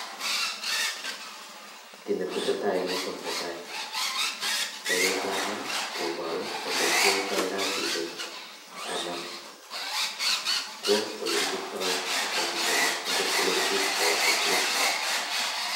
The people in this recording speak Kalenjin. Kiit ne tesetai eng yu, ko netai, chepyosana koparu ole kiyaitoi kasisiechu anan ole kichoptoi ngalechutochu akot ole kisutitoi sotet.